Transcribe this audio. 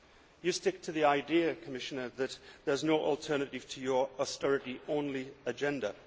You stick to the idea, Commissioner, that there is no alternative to your austerity only agenda.